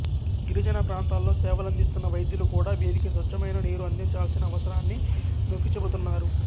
గిరిజన ప్రాంతాల్లో సేవలందిస్తున్న వైద్యులు కూడా వీరికి స్వచ్ఛమైన నీరు అందించాల్సిన అవసరాన్ని నొక్కి చెబుతున్నారు